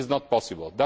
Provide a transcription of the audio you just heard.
It is not possible.